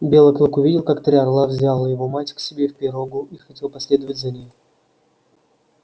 белый клык увидел как три орла взяло его мать к себе в пирогу и хотел последовать за ней